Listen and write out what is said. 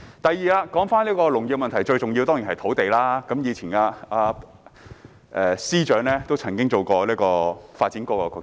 第二，說回農業的問題，當中最重要的當然是土地，而司長也曾擔任發展局局長。